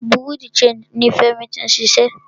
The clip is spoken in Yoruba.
Bureau di changii ní Fẹ́mi tí ń ṣiṣẹ́.